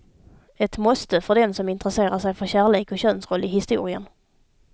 Ett måste för den som intresserar sig för kärlek och könsroll i historien.